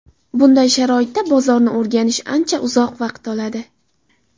Bunday sharoitda bozorni o‘rganish ancha uzoq vaqt oladi.